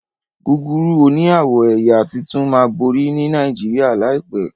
Gúgúrú òní awọ ẹyà títún má bori ní Nàìjíríà láìpé.